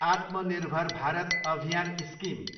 Atmanirbhar Bharat Abhiyan scheme